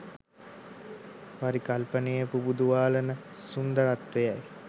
පරිකල්පනය පුබුදුවාලන සුන්දරත්වයයි